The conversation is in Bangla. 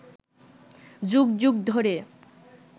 যুগ যুগ ধরে